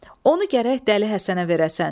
Onu gərək dəli Həsənə verəsən.